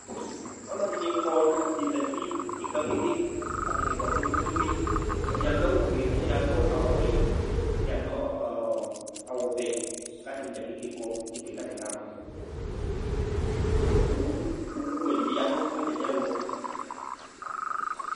Ɔlɔdɩnɩ kɔ nʋ atanɩ zati nʋ utikpǝ keke Atanɩ kɔ kpe-kpe-kpe Ɛdɩnɩ adʋ awʋfue kʋ ɛdɩnɩ adʋ awʋwɛ kʋ ɛdɩnɩ adʋ ɔ ɔ ɔ awʋvɛ kʋ atanɩ dza keke kɔ nʋ utikpǝ yɛ kʋ atanɩ kamɔ nʋ owu owuwɛ dɩ bɩ ya nʋ atamɩɛlʋ